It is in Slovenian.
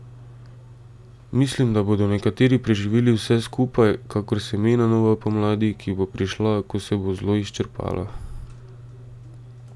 Mislim, da bodo nekateri preživeli vse skupaj, kakor semena nove pomladi, ki bo prišla, ko se bo zlo izčrpalo.